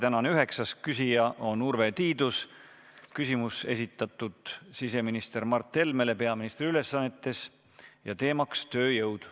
Tänane üheksas küsija on Urve Tiidus, küsimus on esitatud siseminister Mart Helmele peaministri ülesannetes ja teemaks on tööjõud.